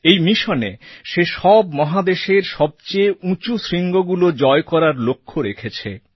এই মিশনে সে সব মহাদেশের সবচেয়ে উঁচু শৃঙ্গগুলো জয় করার লক্ষ্য রেখেছে